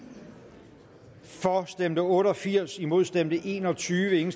for stemte otte og firs imod stemte en og tyve